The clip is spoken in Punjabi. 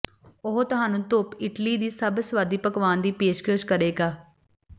ਉਹ ਤੁਹਾਨੂੰ ਧੁੱਪ ਇਟਲੀ ਦੀ ਸਭ ਸੁਆਦੀ ਪਕਵਾਨ ਦੀ ਪੇਸ਼ਕਸ਼ ਕਰੇਗਾ